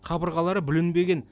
қабырғалары бүлінбеген